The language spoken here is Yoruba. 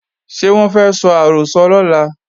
Ṣé wọ́n fẹ́ sọ àrọ́sọ lọ́la?